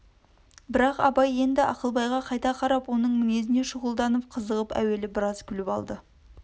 бірақ абай енді ақылбайға қайта қарап оның мінезіне шұғылдан қызығып әуелі біраз күліп алды